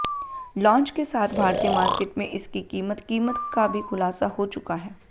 launch के साथ भारतीय मार्किट में इसकी कीमत कीमत का भी खुलासा हो चुका है